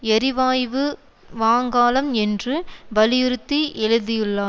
எரிவாய்வு வாங்காலம் என்று வலியுறுத்தி எழுதியுள்ளா